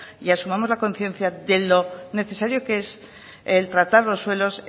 y asumamos la conciencia de lo necesario que es el tratar los suelos